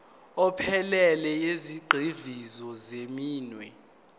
ephelele yezigxivizo zeminwe